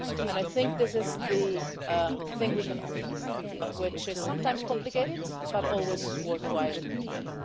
I think this is the thing we can offer, which is sometimes complicated but always worthwhile trying.